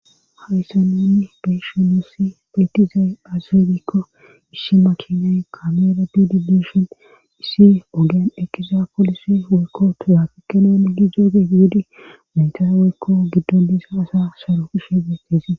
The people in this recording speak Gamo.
haysan nunni beyshu nusi peetizay azizebikko ishima kinyay kamera dudi dushon issi ogen eqiza polisi hoykko tuyafikkenene gi zoogeyeedi maytaaweykko giddondisa asa saro kishe beettese